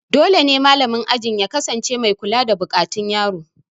Dole ne malamin ajin ya kasance mai kula da buƙatun yaro